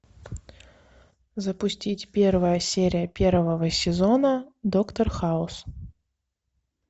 запустить первая серия первого сезона доктор хаус